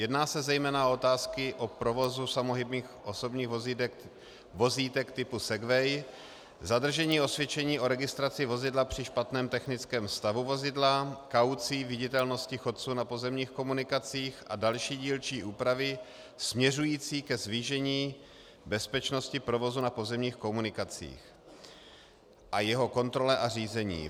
Jedná se zejména o otázky provozu samohybných osobních vozítek typu Segway, zadržení osvědčení o registraci vozidla při špatném technickém stavu vozidla, kaucí, viditelnosti chodců na pozemních komunikacích a další dílčí úpravy směřující ke zvýšení bezpečnosti provozu na pozemních komunikacích a jeho kontrole a řízení.